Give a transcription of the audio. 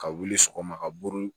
Ka wuli sɔgɔma ka buru